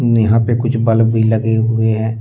यहा पे कुछ ब्लब भी लगे हुए है।